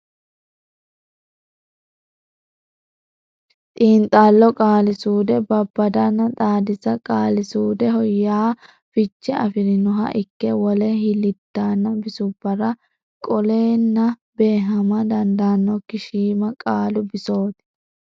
Xiinxallo Qaali suude Babbadanna Xaadisa Qaali suudeho yaa fiche afi rinoha ikke wole hiliddaanna bisubbara qolleenna beehama dandaannokki shiima qaalu bisooti.